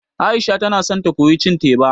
Aisha tana so ta koyi cin teba